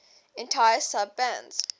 entire sub bands